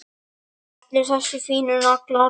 Allir þessir fínu naglar!